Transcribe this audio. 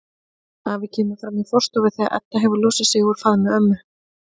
Afi kemur fram í forstofu þegar Edda hefur losað sig úr faðmi ömmu.